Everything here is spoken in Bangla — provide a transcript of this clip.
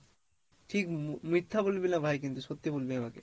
ঠিক মি~ মিথ্যা বলবি না ভাই কিন্তু সত্যি বলবি আমাকে।